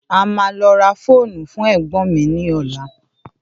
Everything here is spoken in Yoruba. À má lọ rà fóònù fún ẹ̀gbọn mi ní ola